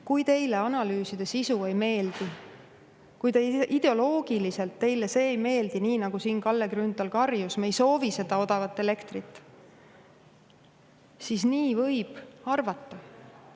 Kui teile analüüside sisu ei meeldi, kui see teile ideoloogiliselt ei meeldi – Kalle Grünthal karjus siin, et me ei soovi seda odavat elektrit –, siis nii te võite arvata.